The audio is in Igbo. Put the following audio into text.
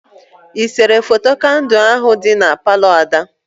Ị sere foto kandụ ahụ dị na Palọ Ada?